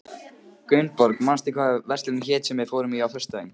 Gunnborg, manstu hvað verslunin hét sem við fórum í á föstudaginn?